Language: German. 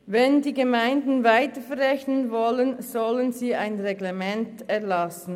Wenn die Gemeinden solche Kosten weiter verrechnen wollen, sollen sie ein Reglement erlassen.